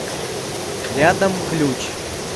рядом ключ